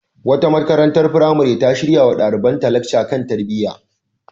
Wata makarantar firamare ta shirya wa ɗalibanta lacca kan tarbiyya.